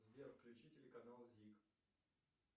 сбер включи телеканал зиг